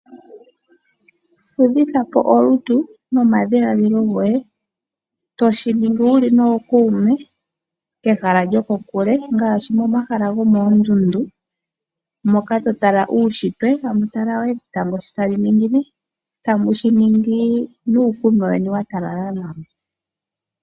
Fudhithapo olutu nomadhiladhilo goye, toshiningi wuli nookuume kehala lyokokule, ngaashi momahala gomoondundu, moka to tala uushitwe, oshowo etango sho tali ningine, tamu shi ningi nuukunwa weni watalala nawa.